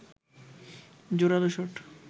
জোরালো শট